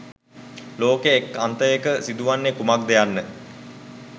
ලෝකයේ එක් අන්තයක සිදුවන්නේ කුමක්ද යන්න